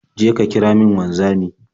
Je ka kira min wanzami.